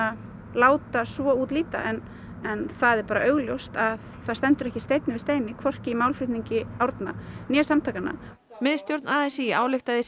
láta svo út líta en en það er augljóst að það stendur ekki steinn við steini hvorki í málflutningi Árna né samtakanna miðstjórn a s í ályktaði í